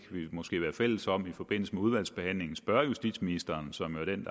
måske være fælles om i forbindelse med udvalgsbehandlingen spørge justitsministeren som jo er den